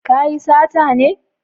Ka yi sata ne